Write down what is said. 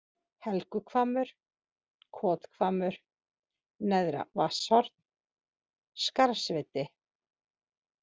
Helguhvammur, Kothvammur, Neðra Vatnshorn, Skarðsviti